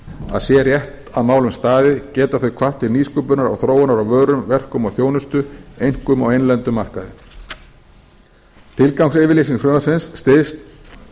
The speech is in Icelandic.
að sé rétt að málum staðið geta þau hvatt til nýsköpunar og þróunar á vörum verkum og þjónustu einkum á innlendum markaði tilgangsyfirlýsing frumvarpsins styðst